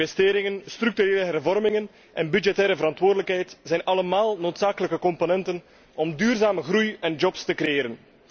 Investeringen, structurele hervormingen en budgettaire verantwoordelijkheid zijn allemaal noodzakelijke componenten om duurzame groei en jobs te creëren.